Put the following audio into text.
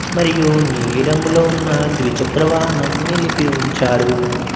మరియు నీలి రంగులో ఉన్న ద్విచక్ర వాహనం నిలిపి ఉంచారు.